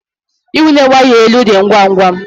Ịwụnye waya elu dị ngwa ngwa.